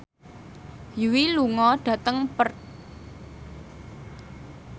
Yui lunga dhateng Perth